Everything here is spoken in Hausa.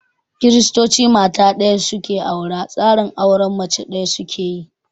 Kiristoci mata ɗaya su ke aura, tsarin auren mace ɗaya su ke yi.